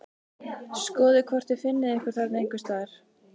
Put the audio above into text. Skoðið hvort þið finnið ykkur þarna einhvers staðar